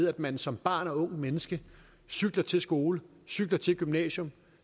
at man som barn og ungt menneske cykler til skole cykler til gymnasiet